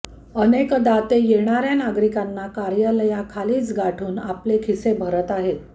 अनेकदा ते येणार्या नागरिकांना कार्यालयाखालीच गाठून आपले खिसे भरत आहेत